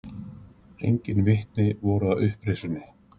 engin vitni voru að upprisunni